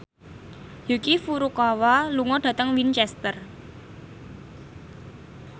Yuki Furukawa lunga dhateng Winchester